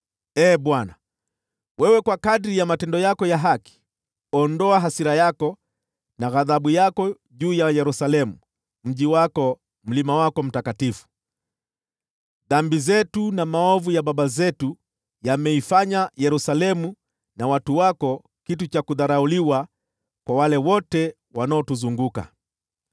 Ee Bwana, wewe kwa kadiri ya matendo yako ya haki, ondoa hasira yako na ghadhabu yako juu ya Yerusalemu, mji wako, mlima wako mtakatifu. Dhambi zetu na maovu ya baba zetu yameifanya Yerusalemu na watu wako kitu cha kudharauliwa kwa wale wote wanaotuzunguka.